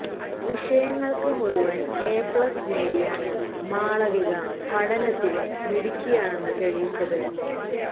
വിഷയങ്ങൾക്ക് മുഴുവൻ A plus നേടിയാണ് മാളവിക പഠനത്തിലും മിടുക്കിയാണെന്ന് തെളിയിച്ചത്